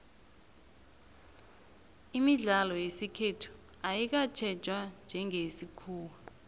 imidlalo yesikhethu ayikatjhejwa njengeyesikhuwa